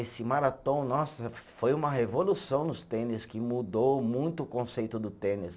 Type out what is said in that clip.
Esse Marathon, nossa, foi uma revolução nos tênis, que mudou muito o conceito do tênis.